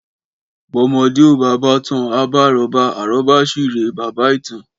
Bọmọdẹ ò bà bàtàn, à bà àróbà, àróbà si rẹ bàbá itan